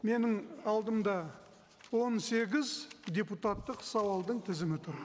менің алдымда он сегіз депутаттық сауалдың тізімі тұр